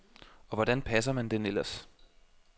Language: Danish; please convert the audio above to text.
Og hvordan passer man den ellers?